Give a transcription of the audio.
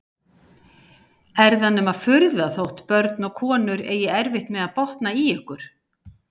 Er það nema furða þótt börn og konur eigi erfitt með að botna í ykkur!